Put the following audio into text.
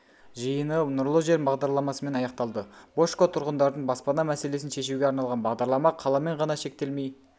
жиынды нұрлы жер бағдарламасымен аяқталды божко тұрғындардың баспана мәселесін шешуге арналған бағдарлама қаламен ғана шектелмей